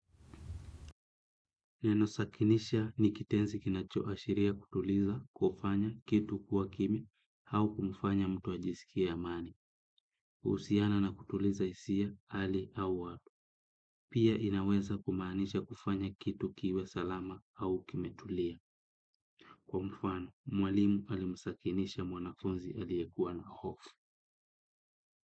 Neno sakinisha ni kitenzi kinachoashiria kutuliza kufanya kitu kwa kimi hau kumfanya mtu ajisikie amani, uhusiana na kutuliza hisia hali au wa, pia inaweza kumaanisha kufanya kitu kiwe salama hau kime tulia. Kwa mfano, mwalimu alimsakinisha mwanafunzi aliyekuwa na hofu.